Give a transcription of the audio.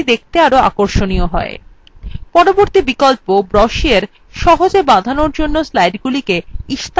পরবর্তী বিকল্প brochure সহজে বাঁধানোর জন্য স্লাইডগুলিকে ইস্তাহার হিসাবে ছাপতে সাহায্য করে